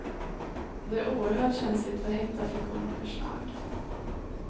Det är oerhört känsligt för hetta, friktion och för slag.